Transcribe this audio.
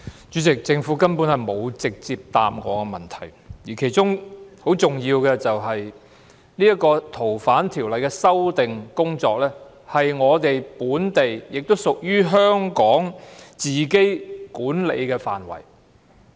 主席，政府根本沒有直接回答我的質詢，而其中很重要的是，《逃犯條例》的修訂工作是我們本地，亦都屬於香港自己管理的範圍。